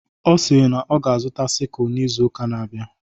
Ọ si na ọ ga-azụta sikụl n'izu ụka na-abịa.